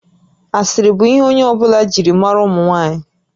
Asịrị bụ ihe onye ọ bụla jiri maara ụmụ nwaanyị